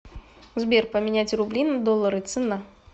сбер поменять рубли на доллары цена